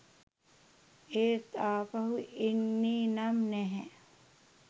එත් අපහු එන්නේ නම් නැහැ